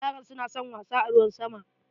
Yaran suna son wasa a ruwan sama.